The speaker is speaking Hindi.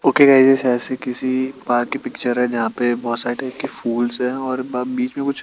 ओके गाईज ये शायद से किसी पार्क कि पिक्चर है जहाँ पे बहोत सारे फूल्स है और ब बिच में कुछ --